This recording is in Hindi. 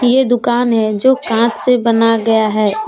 ये दुकान है जो कांच से बना गया है उस--